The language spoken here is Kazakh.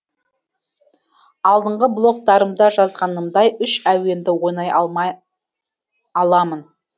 алдыңғы блогтарымда жазғанымдай үш әуенді онай аламын